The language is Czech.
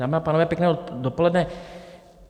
Dámy a pánové, pěkné dopoledne.